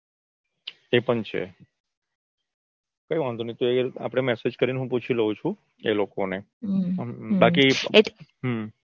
એ પણ છે કઈ વાંધો નઈ આપડે massage કરી હું પૂછી લઉ છું. એ લોકો ને. બાકી હમ